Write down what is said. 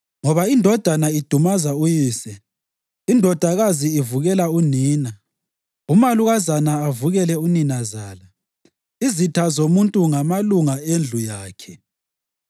Ngoba indodana idumaza uyise, indodakazi ivukela unina, umalukazana avukele uninazala, izitha zomuntu ngamalunga endlu yakhe.